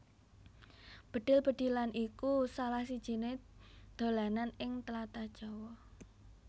Bedhil bedhilan iku salah sijiné dolanan ing tlatah Jawa